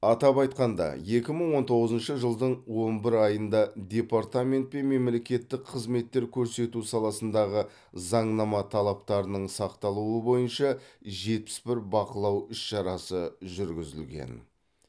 атап айтқанда екі мың он тоғызыншы жылдың он бір айында департаментпен мемлекеттік қызметтер көрсету саласындағы заңнама талаптарының сақталуы бойынша жетпіс бір бақылау іс шарасы жүргізілген